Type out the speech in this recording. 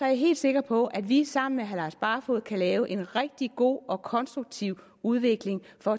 jeg helt sikker på at vi sammen med herre lars barfoed kan lave en rigtig god og konstruktiv udvikling for